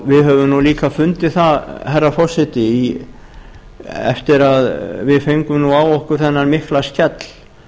við höfum líka fundið það herra forseti eftir að við fengum á okkur þennan mikla skell